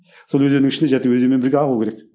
сол өзеннің ішінде өзенмен бірге ағу керек